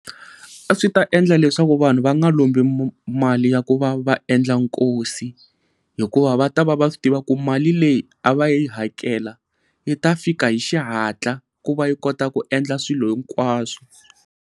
A swi ta endla leswaku vanhu va nga lombi mali ya ku va va endla nkosi, hikuva va ta va swi tiva ku mali leyi a va yi hakela yi ta fika hi xihatla ku va yi kota ku endla swilo hinkwaswo.